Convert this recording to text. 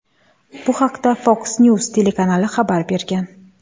Bu haqda Fox News telekanali xabar bergan .